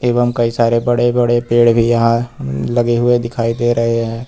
एवं कई सारे बड़े बड़े पेड़ भी यहां लगे हुए दिखाई दे रहे हैं।